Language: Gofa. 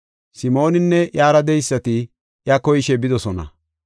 Simooninne iyara de7eysati iya koyishe bidosona.